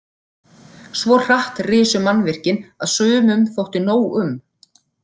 Svo hratt risu mannvirkin að sumum þótti nóg um.